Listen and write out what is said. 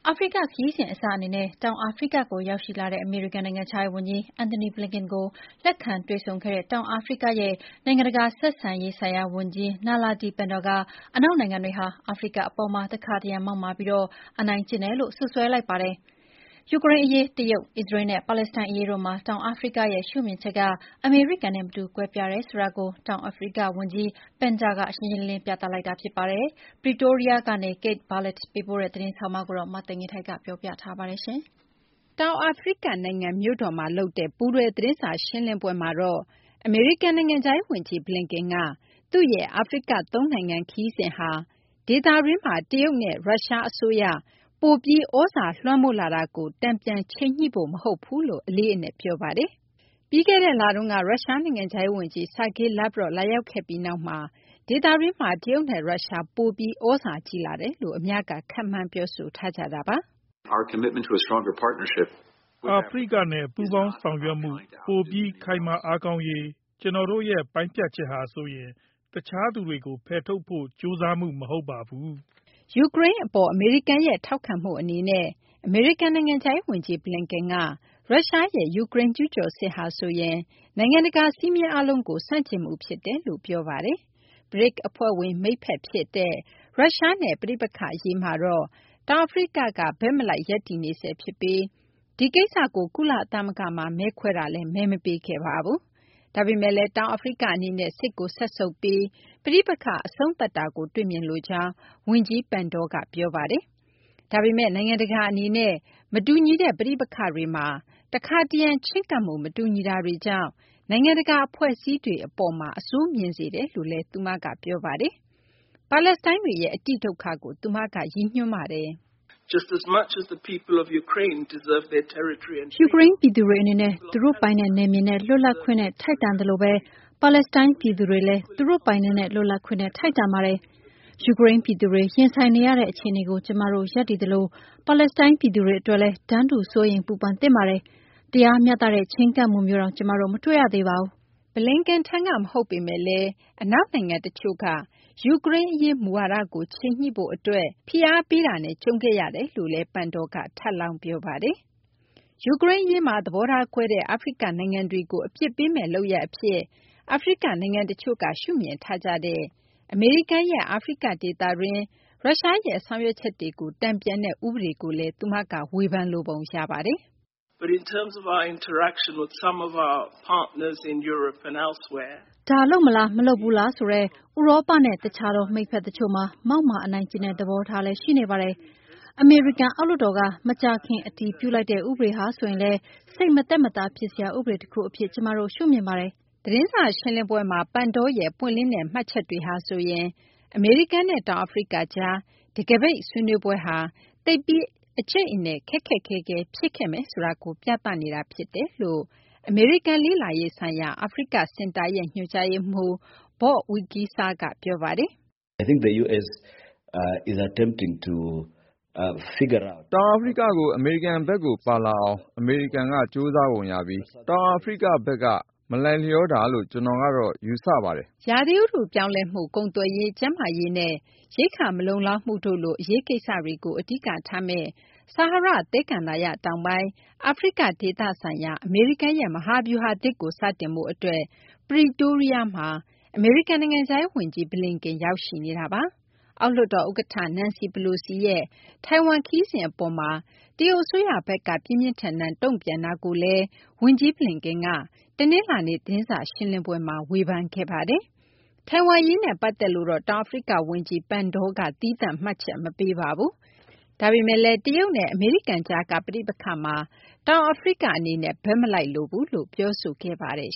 အာဖရိက ခရီးစဉ် အစအနေနဲ့ တောင်အာဖရိက ကို ရောက်ရှိလာတဲ့ အမေရိကန် နိုင်ငံခြားရေး ဝန်ကြီး Antony Blinken ကို လက်ခံတွေ့ဆုံတဲ့ တောင်အာဖရိကရဲ့ နိုင်ငံတကာ ဆက်ဆံရေးဆိုင်ရာ ဝန်ကြီး Naledi Pandor က အနောက်နိုင်ငံတွေဟာ အာဖရိက အပေါ်မှာ တခါတရံ မောက်မာပြီး အနိုင်ကျင့်တယ်ဆိုပြီး စွပ်စွဲလိုက်ပါတယ်။ ယူကရိန်းအရေး၊ တရုတ်၊ အစ္စရေးလ်နဲ့ ပါလက်စတိုင်း အရေးတို့မှာ တောင်အာဖရိကရဲ့ ရှုမြင်ချက်က အမေရိကန်နဲ့ မတူ ကွဲပြားတယ်ဆိုတာကို တောင်အာဖရိက ဝန်ကြီး Pandor က ရှင်းရှင်းလင်းလင်း ပြသလိုက်တာ ဖြစ်ပါတယ်။ Pretoria ကနေ Kate Bartlett ပေးပို့တဲ့ သတင်းဆောင်းပါးကို မသိင်္ဂ ီထိုက် ပြောပြပေးပါမယ်။ တောင်အာဖရိက နိုင်ငံ မြို့တော်မှာ လုပ်တဲ့ ပူးတွဲ သတင်းစာ ရှင်းလင်းပွဲမှာတော့ အမေရိကန် နိုင်ငံခြားရေး ဝန်ကြီး Blinken က သူ့ရဲ့ အာဖရိက သုံးနိုင်ငံ ခရီးစဉ်ဟာဆိုရင် ဒေသတွင်းမှာ ရုရှားနဲ့ တရုတ် အစိုးရ ပိုပြီး သြဇာလွှမ်းမိုးလာတာကို တန်ပြန်ချိန်ညှိဖို့ မဟုတ်ဘူးလို့ အလေးအနက် ပြောပါတယ်။ ပြီးခဲ့တဲ့ လတုန်းက ရုရှား နိုင်ငံခြားရေး ဝန်ကြီး Sergey Lavrov လာရောက်ခဲ့ပြီးနောက်မှာတော့ ဒေသတွင်းမှာ တရုတ်နဲ့ ရုရှား ပိုပြီး သြဇာကြီးလာတယ်လို့ အများက ခန့်မှန်း ပြောဆိုထားကြတာပါ။ အာဖရိကနဲ့ ပူးပေါင်းဆောင်ရွက်မှု ပိုပြီး ခိုင်မာ အားကောင်းရေး ကျနော်တို့ရဲ့ ပိုင်းဖြတ်ချက်ဟာဆိုရင် တခြားသူတွေကို ဖယ်ထုတ်ဖို့ ကြိုးစားမှု မဟုတ်ပါဘူး။ ယူကရိန်း အပေါ် အမေရိကန်ရဲ့ ထောက်ခံမှု အနေနဲ့ အမေရိကန် နိုင်ငံခြားရေး ဝန်ကြီး Blinken က ရုရှားရဲ့ ယူကရိန်း ကျူးကျော်စစ်ဟာဆိုရင် နိုင်ငံတကာ စည်းမျဉ်းအားလုံးကို ဆန့်ကျင်မှု ဖြစ်တယ်လို့ ပြောဆိုခဲ့တာပါ။ BRICS အဖွဲ့ဝင် မိတ်ဖက် ဖြစ်တဲ့ ရုရှားနဲ့ ပဋိပက္ခ အရေးမှာတော့ တောင်အာဖရိက ဘက်မလိုက် ရပ်တည်းနေဆဲ ဖြစ်ပြီး ဒီကိစ္စကို ကုလသမဂ္ဂမှာ မဲခွဲတာမှာလည်း မဲမပေးခဲ့ပါဘူး။ ဒါပေမယ့်လည်း တောင်အာဖရိက အနေနဲ့ စစ်ကို စက်ဆုပ်ပြီး ပဋိပက္ခ အဆုံးသတ်တာကို တွေ့မြင်လိုကြောင်း ဝန်ကြီး Pandor က ပြောပါတယ်။ ဒါပေမယ့်လည်း နိုင်ငံတကာ အနေနဲ့ မတူညီတဲ့ ပဋိပက္ခတွေမှာ တခါတရံ ချဉ်းကပ်မှု မတူညီတာတွေကြောင့် နိုင်ငံတကာ အဖွဲ့အစည်းတွေ အပေါ်မှာ အဆိုးမြင်စေတယ်လို့လည်း သူမက ပြောပါတယ်။ ပါလက်စတိုင်းတွေရဲ့ အတိဒုက္ခကို သူမက ရည်ညွှန်းပါတယ်။ ယူကရိန်း ပြည်သူတွေ အနေနဲ့ သူတို့ ပိုင်နက် နယ်မြေနဲ့ လွတ်လပ်ခွင့်နဲ့ ထိုက်တန်သလိုဘဲ ပါလက်စတိုင်း ပြည်သူတွေလည်း သူတို့ ပိုင်နက်နဲ့ လွတ်လပ်ခွင့်နဲ့ ထိုက်တန်ပါတယ်။ ယူကရိန်း ပြည်သူတွေ ရင်ဆိုင်နေရတဲ့ အခြေအနေကို ကျမတို့ ရပ်တည်သလို ပါလက်စတိုင်း ပြည်သူတွေ အတွက်လည်း တန်းတူ စိုးရိမ်ပူပန်သင်ပါတယ်။ တရားမျှတတဲ့ ချဉ်းကပ်မှုမျိုးတောင် ကျမတို့ မတွေ့ရသေးပါဘူး။ Blinken ထံက မဟုတ်ပေမယ့်လည်း အနောက်နိုင်ငံ တချို့ကတော့ ယူကရိန်း အရေး မူဝါဒကို ချိန်ညှိရေး အတွက် အနောက်နိုင်ငံ တချို့ရဲ့ ဖိအားပေးမှုနဲ့ ကြုံခဲ့ရတယ်လို့လည်း Pandor က ထပ်လောင်း ပြောပါတယ်။ ယူကရိန်း အရေးမှာ သဘောထားကွဲတဲ့ အာဖရိက နိုင်ငံတွေကို အပြစ်ပေးမယ့် လုပ်ရပ် အဖြစ် အာဖရိက နိုင်ငံတချို့က ရှုမြင်ထားကြတဲ့ အမေရိကန်ရဲ့ အာဖရိက ဒေသတွင်း ရုရှားရဲ့ ဆောင်ရွက်ချက်တွေကို တန်ပြန်တဲ့ ဥပဒေကိုလည်း သူမက ဝေဖန်လိုပုံ ရပါတယ်။ ဒါ လုပ်မလား မလုပ်ဘူးလားဆိုတဲ့ ဥရောပနဲ့ တခြားသော မိတ်ဖက် တချို့မှာ မောက်မာ အနိုင်ကျင့်တဲ့ သဘောထားလည်း ရှိနေပါတယ်။ အမေရိကန် အောက်လွှတ်တော်က မကြာခင်က အတည်ပြုပြုလိုက်တဲ့ ဥပဒေဟာဆိုရင်လည်း စိတ်မသက်မသာ ဖြစ်စရာ ဥပဒေ တခု အဖြစ် ကျမတို့ ရှုမြင်ပါတယ်။ သတင်းစာ ရှင်းလင်းပွဲမှာ Pandor ရဲ့ ပွင့်လင်းတဲ့ မှတ်ချက်တွေဟာဆိုရင် အမေရိကန်နဲ့ တောင်အာဖရိက ကြား တခါးပိတ် ဆွေးနွေးပွဲဟာ သိပ်ပြီး အကြိတ်အနယ် ခက်ခက်ခဲခဲ ဖြစ်ခဲ့မယ်ဆိုတာကို ပြသနေတာ ဖြစ်တယ်လို့ အမေရိကန် လေ့လာရေးဆိုင်ရာ အာဖရိက စင်တာရဲ့ ညွှန်ကြားရေးမှူး Bob Wekesa က ပြောပါတယ်။ တောင်အာဖရိက ကို အမေရိကန်ဘက်ကို ပါလာအောင် အမေရိကန် ကြိုးစားပုံ ရပြီး တောင်အာဖရိက ဘက်က မလိုက်လျောတာလို့ ကျနော်ကတော့ ယူဆင်ပါတယ်။ ရာသီဥတု ပြောင်းလဲမှု၊ ကုန်သွယ်ရေး၊ ကျန်းမာရေးနဲ့ ရိက္ခာ မလုံလောက်မှု တို့လို အရေးကိစ္စတွေကို အဓိက ထားမယ့် ဆာဟာရ သဲကန္တာရ တောင်ပိုင်း အာဖရိက ဒေသ ဆိုင်ရာ အမေရိကန်ရဲ့ မဟာဗျူဟာသစ်ကို စတင်ဖို့ အတွက် Pretoria မှာ အမေရိကန် နိုင်ငံခြားရေး ဝန်ကြီး Blinken ရောက်ရှိနေတာပါ။ အောက်လွှတ်တော် ဥက္ကဌ Nancy Pelosi ရဲ့ ထိုင်ဝမ် ခရီးစဉ် အပေါ်မှာ တရုတ် အစိုးရဘက်က ပြင်းပြင်းထန်ထန် တုံ့ပြန်တာကိုလည်း ဝန်ကြီး Blinken က တနလာၤနေ့ သတင်းစာ ရှင်းလင်းပွဲမှာ ဝေဖန်ခဲ့ပါတယ်။ ထိုင်ဝမ် အရေးနဲ့ ပတ်သက်လို့ တောင်အာဖရိက ဝန်ကြီး Pandor က သီးသန့် မှတ်ချက် မပေးပါဘူး။ ဒါပေမယ့်လည်း တရုတ်နဲ့ ရုရှား ကြားက ပဋိပက္ခမှာ တောင်အာဖရိက အနေနဲ့ ဘက်မလိုက်လိုဘူးလို့ ပြောဆိုခဲ့ပါတယ်